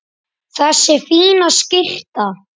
Þessi fína skyrta!